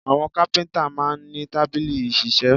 Àwọn kápíntà máa n ní tábìlì ìṣiṣẹ́